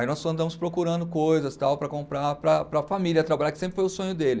Aí nós andamos procurando coisas tal para comprar para para a família trabalhar, que sempre foi o sonho dele.